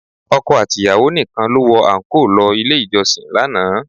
Ọkọ àti ìyàwó nìkan ló wọ àńkò lọ ilé ìjọsìn lánàá